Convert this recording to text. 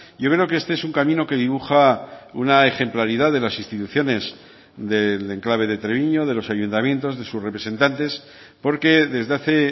yo creo que este es un camino que dibuja una ejemplaridad de las instituciones del enclave de treviño de los ayuntamientos de sus representantes porque desde hace